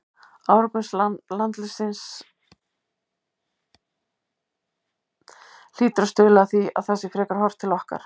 Árangur landsliðsins hlýtur að stuðla að því að það sé frekar horft til okkar.